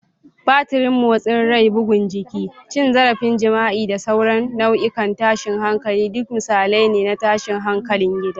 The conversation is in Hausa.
Batirin motsin rai, bugun jiki, cin zarafin jima'i, da sauran nau'ikan tashin hankali duk misalai ne na tashin hankalin gida.